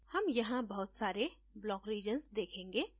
हम यहाँ बहुत सारे block regions देखेंगे